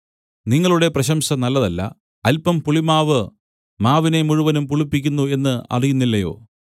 നിങ്ങളുടെ പ്രശംസ നല്ലതല്ല അല്പം പുളിമാവ് മാവിനെ മുഴുവനും പുളിപ്പിക്കുന്നു എന്ന് അറിയുന്നില്ലയോ